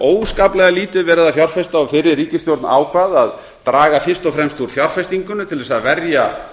óskaplega lítið verið að fjárfesta og fyrri ríkisstjórn ákvað að draga fyrst og fremst úr fjárfestingunni til þess að verja